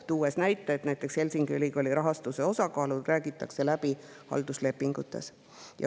tõi näiteks, et Helsingi Ülikooli rahastuse osakaalud räägitakse läbi halduslepingutes.